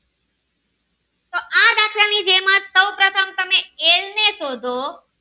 ને શોધ.